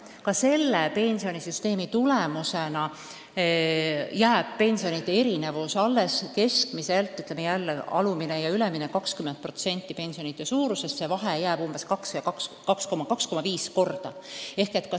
Ka uue pensionisüsteemi tulemusena jääb pensionide erinevus alles, kui võtta alumine ja ülemine piir, siis see vahe on 2 või 2,5 korda.